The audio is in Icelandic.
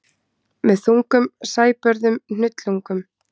Með þungum sæbörðum hnullungum.